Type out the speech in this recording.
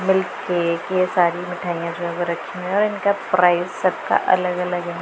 milk cake ये सारी मिठाइयां जो है वो रखी हैं और इनका प्राइस सबका अलग अलग--